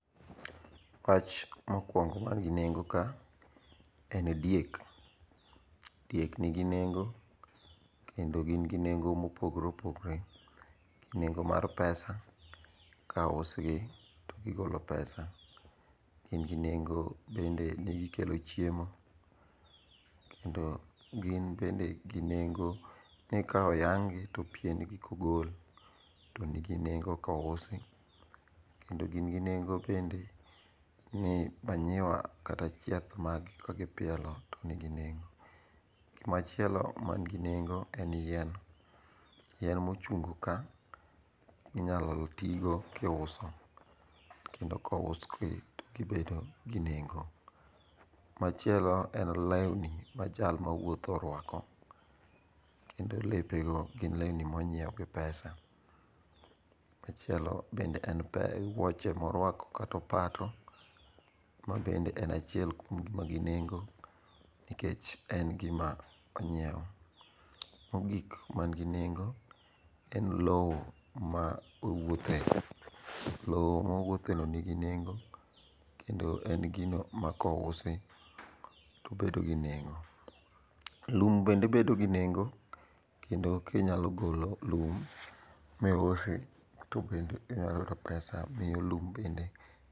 Wach mokwongo man gi nengo ka en diek. Diek nigi nengo kendo gin gi nengo mopogore opogore gi nengo mar pesa ka ousgi gigolo pesa. Gin gi nengo bende ni gikelo chiemo, kendo gin bende gi nengo ni ka oyang'gi to pien gi kogol to nigi nengo kousi kendo gin gi nengo bende ni manyiwa kata chieth maggi kagipielo to nigi nengo. Gimachielo mangi nengo en yien. Yien mochungo ka inyalo tigo kiuso, kendo kous be gibedo gi nengo. Machielo en lewni ma jal ma wuotho orwako. Kendo lepego gin lewni monyiew gi pesa. Machielo bende en wuoche morwako kata opato mabende en achiel kuom gik manigi nengo nikech en gima onyiewo. Mogik manigi nengo en lowo ma owuotheni. Lowo mowuotheno nigi nengo, kendo en gino ma kousi tobedo gi nengo. Lum bende bedo gi nengo, kendo kinyalo golo lum miusi to bende inya yudo pesa omiyo lum bende.